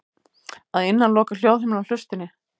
Að innan lokar hljóðhimnan hlustinni.